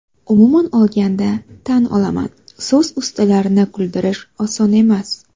Umuman olganda, tan olaman, so‘z ustalarini kuldirish oson emas.